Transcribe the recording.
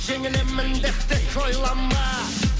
жеңілемін деп тек ойлама